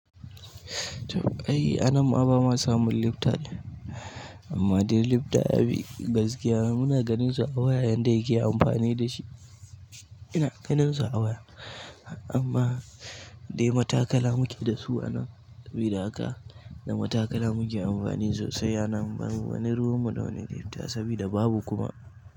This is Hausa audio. To, ai anan ma bama samun lifta ɗin amma dai lifta yafi gaskiya muna ganin su a waya yanda yake amfani dashi. Ina ganin su a waya amma dai matakala muke dasu anan sabida haka na matakala muke amfani sosai anan. Babu wani ruwanmu da wani lifta sabida babu kuma.